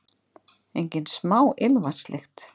Engin smá ilmvatnslykt!